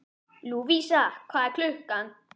Lúvísa, hvað er klukkan?